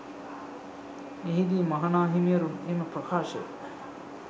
එහිදී මහනාහිමිවරුන් එම ප්‍රකාශය